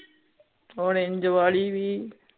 prange ਵਾਲੀ ਵੀ